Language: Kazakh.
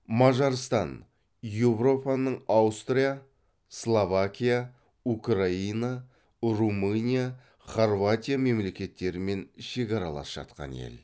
мажарстан еуропаның аустрия словакия украина румыния хорватия мемлекеттерімен шекаралас жатқан ел